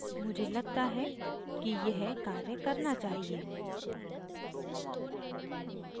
मुझे लगता है कि यह कार्य करना चाहिए